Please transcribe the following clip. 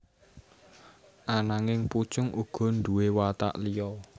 Ananging Pucung uga nduwé watak liya